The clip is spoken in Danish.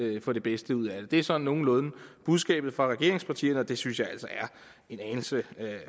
vi få det bedste ud af det det er sådan nogenlunde budskabet fra regeringspartierne og det synes jeg altså er en anelse